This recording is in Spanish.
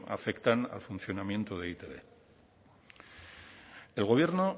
afectan al funcionamiento de e i te be el gobierno